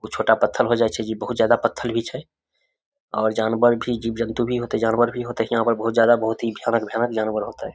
कुछ छोटा पत्थल होय जाय छै जे बहुत ज्यादा पत्थल भी होते और जानवर भी जीव-जन्तु भी होते जानवर भी होते यहाँ पर बहुत ज्यादा बहुत ही भयानक भयानक जानवर होते ।